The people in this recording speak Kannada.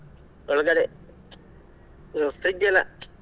ಒಳಗಡೆ fridge ಎಲ್ಲ .